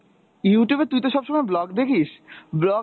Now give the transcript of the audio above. Youtube এ তুই তো সবসময় vlog দেখিস vlog